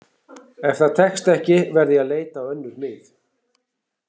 Ef það tekst ekki verð ég að leita á önnur mið.